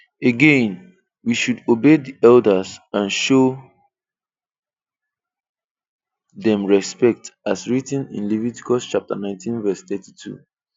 Again, we should obey the elders and show them respect as written in Leviticus 19:32.